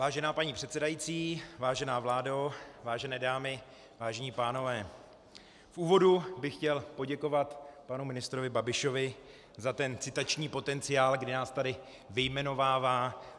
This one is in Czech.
Vážená paní předsedající, vážená vládo, vážené dámy, vážení pánové, v úvodu bych chtěl poděkovat panu ministrovi Babišovi za ten citační potenciál, kdy nás tady vyjmenovává.